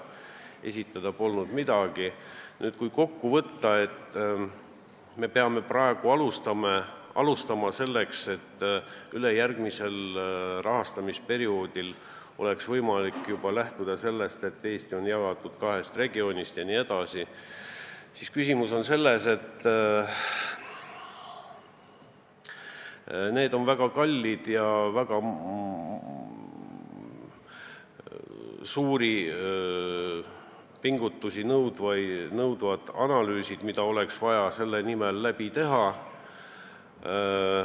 Mis puutub ettepanekusse, et me peame praegu alustama, selleks et ülejärgmisel rahastamisperioodil oleks võimalik juba lähtuda sellest, et Eesti on jagatud kaheks regiooniks, siis küsimus on selles, et need on väga kallid ja väga suuri pingutusi nõudvad analüüsid, mida oleks vaja selle nimel teha.